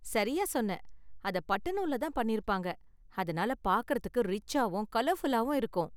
சரியா சொன்ன, அத பட்டு நூல்ல தான் பண்ணிருப்பாங்க, அதனால பார்க்குறதுக்கு ரிச்சாவும் கலர்ஃபுல்லாவும் இருக்கும்.